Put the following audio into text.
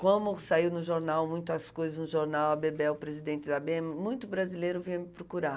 Como saiu no jornal, muitas coisas no jornal, a Bebel, presidente da bê eme, muito brasileiro vinha me procurar.